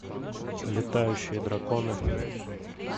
летающие драконы